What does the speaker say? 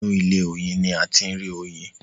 Inú ilé- oyin ní a ti ń rí oyin.